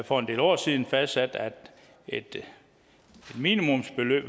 for en del år siden fastsat at et minimumsbeløb